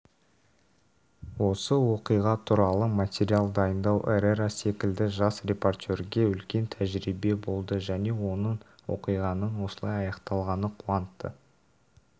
осы оқиға туралы материал дайындау эррера секілді жас репортерге үлкен тәжірибе болды және оны оқиғаның осылай аяқталғаны қуантты